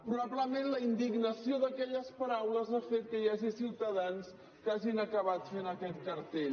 probablement la indignació d’aquelles paraules ha fet que hi hagi ciutadans que hagin acabat fent aquest cartell